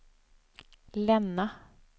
Länna